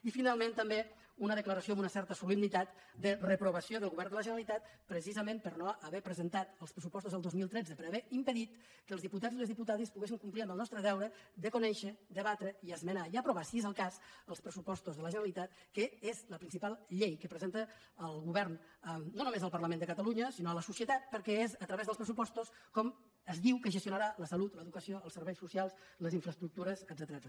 i finalment també una declaració amb una certa solemnitat de reprovació del govern de la generalitat precisament per no haver presentat els pressupostos del dos mil tretze per haver impedit que els diputats i les diputades poguéssim complir amb el nostre deure de conèixer debatre i esmenar i aprovar si és el cas els pressupostos de la generalitat que és la principal llei que presenta el govern no només al parlament de catalunya sinó a la societat perquè és a través dels pressupostos com es diu que es gestionarà la salut l’educació els serveis socials les infraestructures etcètera